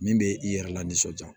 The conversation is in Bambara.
Min bɛ i yɛrɛ la nisɔndiya